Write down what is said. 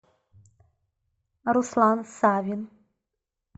руслан савин